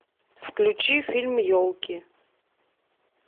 включи фильм елки